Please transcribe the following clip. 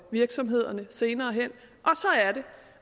virksomhederne senere hen